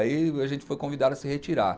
Aí a gente foi convidado a se retirar.